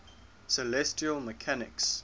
celestial mechanics